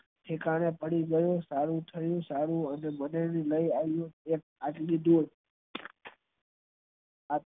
તેના કારણે પડી ગયો સારું થયું સારું અને મને લઈ આવીયો